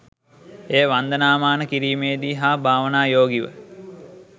එය වන්දනාමාන කිරීමේදී හා භාවනායෝගීව